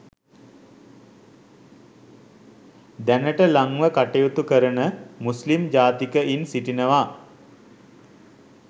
දැනටද ලංව කටයුතු කරන මුස්ලිම් ජාතිකයින් සිටිනවා